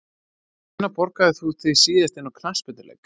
Hvenær borgaðir þú þig síðast inn á knattspyrnuleik?